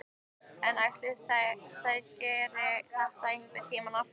En ætli þær geri þetta einhvern tímann aftur?